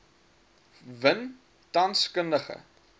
win tans kundige